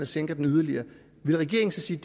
sænker den yderligere vil regeringen så sige